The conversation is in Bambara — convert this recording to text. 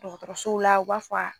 Dɔgɔtɔrɔsow la u b'a fɔ